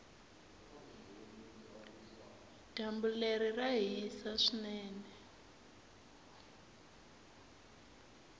dyambu leri ra hisa swinene